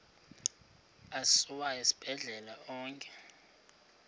asiwa esibhedlele onke